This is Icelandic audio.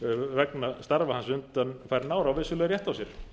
vegna starfa hans undanfarin ár á vissulega rétt á sér